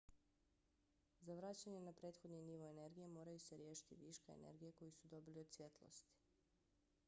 za vraćanje na prethodni nivo energije moraju se riješiti viška energije koju su dobili od svjetlosti